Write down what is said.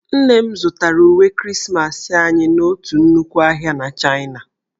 Nne m zụtara uwe Krismasị anyị n'otu nnukwu ụlọ ahịa na Chaịna